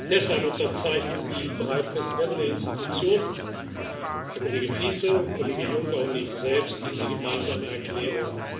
Deshalb unterzeichnen die drei Präsidenten der Institutionen Herr Kollege Fico, Herr Kollege Juncker und ich selbst diese gemeinsame Erklärung.